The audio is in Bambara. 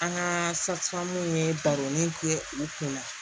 An ka safamu ye baroni ger'u kunna